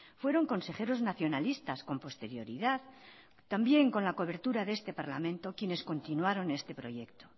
fueron consejeros nacionalistas con posterioridad también con la cobertura de este parlamento quienes continuaron este proyecto